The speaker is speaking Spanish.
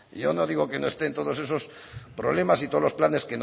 yo no digo que no esté en todos esos problemas y todos los planes